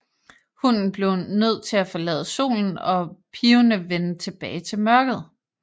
Hunden blev nødt til at forlade solen og pivende vende tilbage til mørket